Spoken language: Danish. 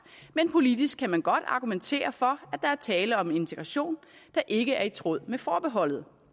men politisk kan man godt argumentere for at der er tale om en integration der ikke er i tråd med forbeholdet